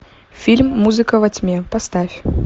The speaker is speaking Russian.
фильм музыка во тьме поставь